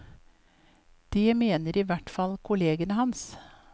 Det mener i hvert fall kollegene hans.